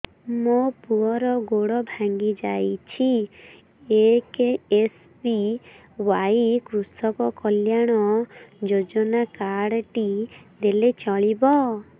ମୋ ପୁଅର ଗୋଡ଼ ଭାଙ୍ଗି ଯାଇଛି ଏ କେ.ଏସ୍.ବି.ୱାଇ କୃଷକ କଲ୍ୟାଣ ଯୋଜନା କାର୍ଡ ଟି ଦେଲେ ଚଳିବ